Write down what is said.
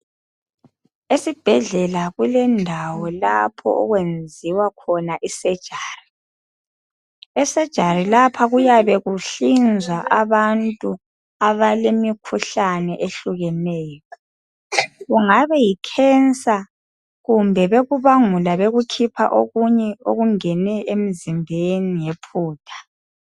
Esibhedlela kulendawo lapho okwenziwa khona isejari, esejari lapha kuyabe kuhlinzwa abantu abalemikhuhlane ehlukeneyo kungaba yikhensa kumbe bekubangula bekukhipha okungene emzimbeni ngephutha.